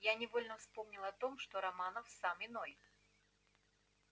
я невольно вспомнил о том что романов сам иной